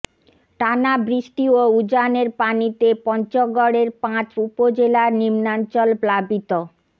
টানা বৃষ্টি ও উজানের পানিতে পঞ্চগড়ের পাঁচ উপজেলার নিম্নাঞ্চল প্লাবিত